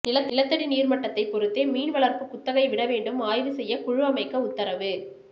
நிலத்தடி நீர்மட்டத்தை பொறுத்தே மீன் வளர்ப்பு குத்தகை விடவேண்டும் ஆய்வு செய்ய குழு அமைக்க உத்தரவு